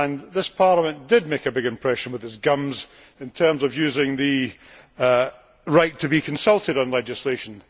This Parliament did make a big impression with its gums in terms of using the right to be consulted on legislation.